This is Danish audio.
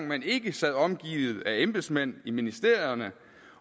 man ikke sad omgivet af embedsmænd i ministerierne